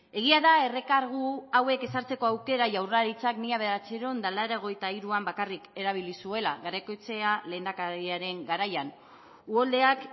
egia da errekargu hauek ezartzeko aukera jaurlaritzak mila bederatziehun eta laurogeita hiruan bakarrik erabili zuela garaikoetxea lehendakariaren garaian uholdeak